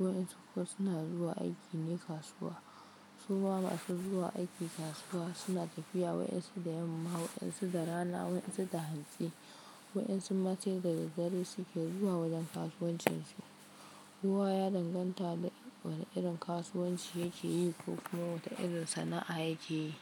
Waɗansu kuma suna zuwa aiki ne kasuwa. Suma masu zuwa aiki kasuwa suna tafiya waɗansu da yamma, waɗansu da rana, waɗansu da hantsi. Waɗansu ma sai da daddare suke zuwa wajen kasuwancinsu. Kowa ya danganta da wani irin kasuwanci yake yi ko kuma wata irin sana'a yake yi.